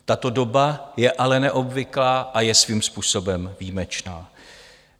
Tato doba je ale neobvyklá a je svým způsobem výjimečná.